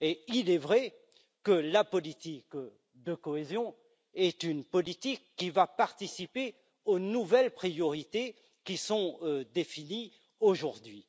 Il est vrai que la politique de cohésion est une politique qui va participer aux nouvelles priorités définies aujourd'hui.